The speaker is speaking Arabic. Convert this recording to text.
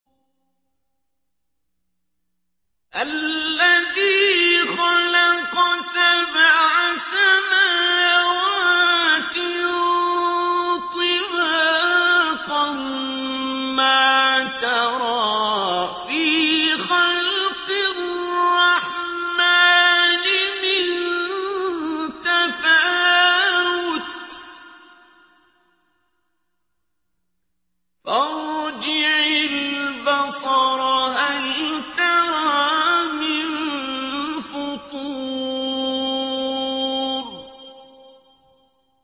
الَّذِي خَلَقَ سَبْعَ سَمَاوَاتٍ طِبَاقًا ۖ مَّا تَرَىٰ فِي خَلْقِ الرَّحْمَٰنِ مِن تَفَاوُتٍ ۖ فَارْجِعِ الْبَصَرَ هَلْ تَرَىٰ مِن فُطُورٍ